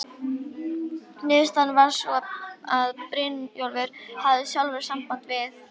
Niðurstaðan varð sú að Brynjólfur hefði sjálfur samband við